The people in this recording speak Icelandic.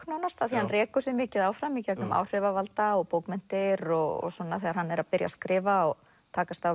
nánast af því hann rekur sig mikið áfram í gegnum áhrifavalda og bókmenntir og svona þegar hann er að byrja að skrifa og takast á